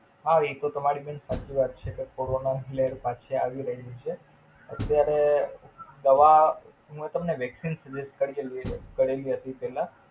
હા હવે ઈ તો તમારી બેન સાચી વાત છે કોરોના લહેર પછી આવી રહી છે. અત્યારે દવા નું તમેને વેકસીન suggest કરી ને કરેલ હતું પેલા